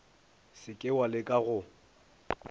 se ke wa leka go